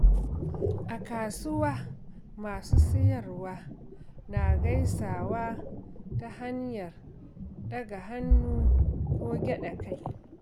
A kasuwa, masu siyarwa na gaisawa ta hanyar ɗaga hannu ko gyaɗa kai.